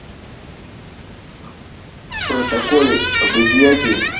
в протоколе об изъятии